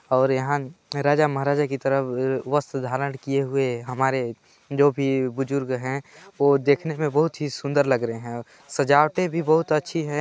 और यहाँ राजा -महराजा के तरह वस्त्र धारण किए हुए हमारे जो भी बुजुर्ग हैं वो देखने में बहुत ही सुंदर लग रहे है सजावटे भी बहुत अच्छी हैं।